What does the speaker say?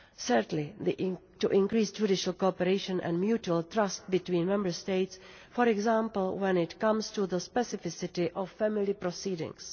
Thirdly, to increase judicial cooperation and mutual trust between Member States, for example when it comes to the specificity of family proceedings.